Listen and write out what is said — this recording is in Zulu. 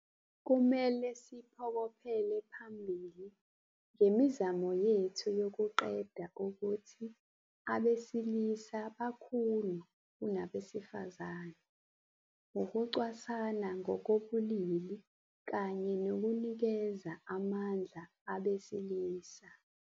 Kumele siphokophele phambili ngemizamo yethu yokuqeda ukuthi abesilisa bakhulu kunabesifazane, ukucwasana ngokobulili kanye nokunikeza amandla abesilisa.